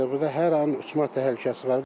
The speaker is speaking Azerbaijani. Burda hər an uçma təhlükəsi var.